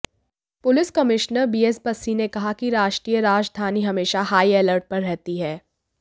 police commissioner BS Bassi ने कहा कि राष्ट्रीय राजधानी हमेशा हाई अलर्ट पर रहती है